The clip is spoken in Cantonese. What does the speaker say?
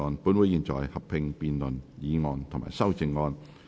本會現在合併辯論議案及修正案。